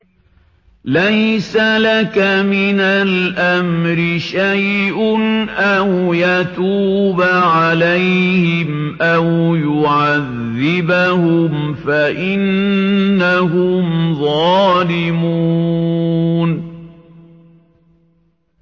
لَيْسَ لَكَ مِنَ الْأَمْرِ شَيْءٌ أَوْ يَتُوبَ عَلَيْهِمْ أَوْ يُعَذِّبَهُمْ فَإِنَّهُمْ ظَالِمُونَ